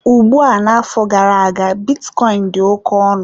Ugbua n'afọ gara-aga bitcoin dị oke ọnụ.